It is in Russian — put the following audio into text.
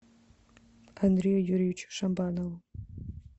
андрею юрьевичу шабанову